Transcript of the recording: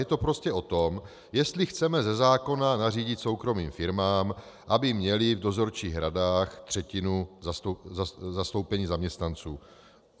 Je to prostě o tom, jestli chceme ze zákona nařídit soukromým firmám, aby měly v dozorčích radách třetinu zastoupení zaměstnanců.